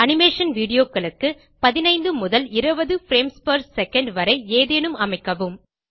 animation videoகளுக்கு 15 முதல் 20 frames per second வரை ஏதேனும் அமைக்கவும்